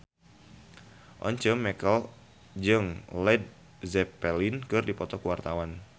Once Mekel jeung Led Zeppelin keur dipoto ku wartawan